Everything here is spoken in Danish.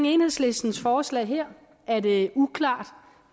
enhedslistens forslag her er det uklart